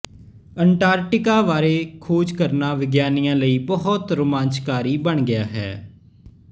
Antarctica ਬਾਰੇ ਖੋਜ ਕਰਨਾ ਵਿਗਿਆਨੀਆਂ ਲਈ ਬਹੁਤ ਰੋਮਾਂਚਕਾਰੀ ਬਣ ਗਿਆ ਹੈ